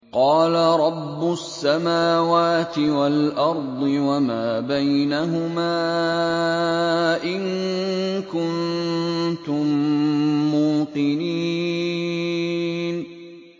قَالَ رَبُّ السَّمَاوَاتِ وَالْأَرْضِ وَمَا بَيْنَهُمَا ۖ إِن كُنتُم مُّوقِنِينَ